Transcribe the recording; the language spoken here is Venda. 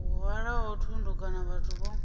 hwalaho thundu kana vhathu vho